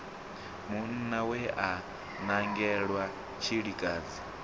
munna we a nangelwa tshilikadzi